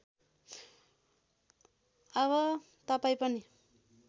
अब तपाईँ पनि